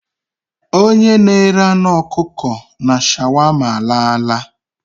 Onye na-ere anụ ọkụkọ na shawama alaala.